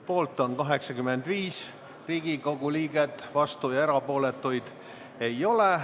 Poolt on 85 Riigikogu liiget, vastuolijaid ega erapooletuid ei ole.